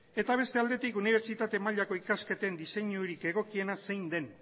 eta beste aldetik unibertsitate mailako ikasketen diseinurik egokiena zein den